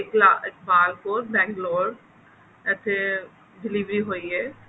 Iqbal Kaur bang lore ਇੱਥੇ delivery ਹੋਈ ਹੈ